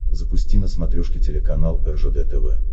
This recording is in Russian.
запусти на смотрешке телеканал ржд тв